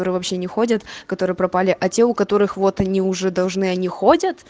вообще не ходят которые пропали а те у которых вот они уже должны они ходят